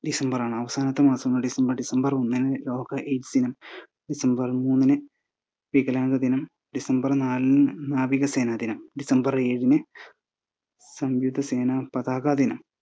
ഡിസംബറാണ് അവസാനത്തെ മാസമാണ് ഡിസംബർ ഒന്നിന് ലോക AIDS ദിനം, ഡിസംബർ മൂന്നിന് വികലാംഗ ദിനം, ഡിസംബർ നാലിന് നാവിക സേന ദിനം, ഡിസംബർ ഏഴിന് സംയുകത സേന പതാക ദിനം.